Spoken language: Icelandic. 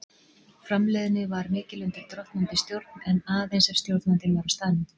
Framleiðni var mikil undir drottnandi stjórn, en aðeins ef stjórnandinn var á staðnum.